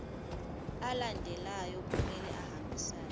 alandelayo kumele ahambisane